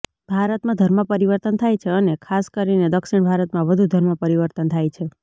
ભારતમાં ધર્મ પરિવર્તન થાય છે અને ખાસ કરીને દક્ષિણ ભારતમાં વધુ ધર્મ પરિવર્તન થાય છે